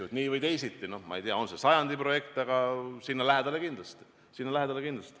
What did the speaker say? Ma ei tea, kas see on päris sajandi projekt, aga sinna lähedale kindlasti.